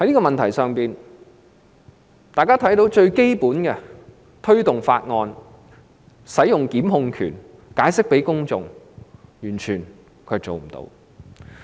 大家都看到，她完全未能推動法案、行使檢控權或向公眾解釋。